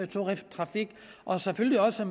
turisttrafik og selvfølgelig også